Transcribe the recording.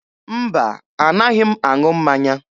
Mba, anaghị m aṅụ mmanya.